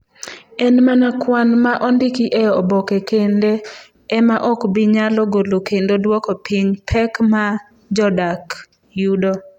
En mana kwan ma ondiki e oboke kende ema ok bi nyalo golo kendo duoko piny pek ma jodak yudo.